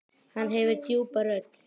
Hann hefur djúpa rödd.